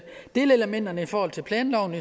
delelementerne i forhold til planloven